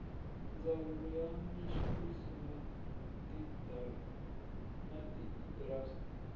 ndzawulo ya minxaviso na tiindastri